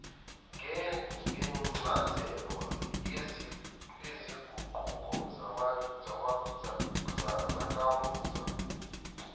ngencazelo yezinguquko zakamuva